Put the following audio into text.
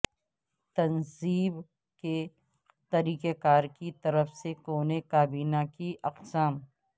تنصیب کے طریقہ کار کی طرف سے کونے کابینہ کی اقسام